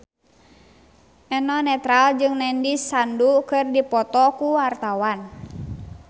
Eno Netral jeung Nandish Sandhu keur dipoto ku wartawan